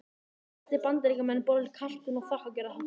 Flestir Bandaríkjamenn borða kalkún á þakkargjörðarhátíðinni.